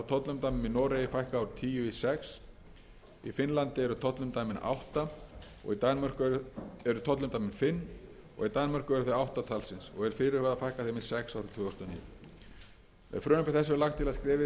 úr tíu í sex í finnlandi eru tollumdæmin fimm og í danmörku eru þau átta talsins og er fyrirhugað að fækka þeim í sex árið tvö þúsund og níu með frumvarpi þessu er lagt til að skrefið verði stigið til fulls í því að fækka tollumdæmum